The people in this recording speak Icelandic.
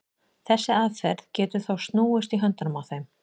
þessi aðferð getur þó snúist í höndunum á þeim